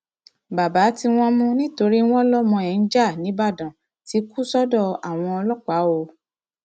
baba tí wọn mú nítorí wọn lọmọ ẹ ń ja nígbàdàn ti kú sọdọ àwọn ọlọpàá o